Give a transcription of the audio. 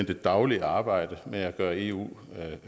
det daglige arbejde med at gøre eu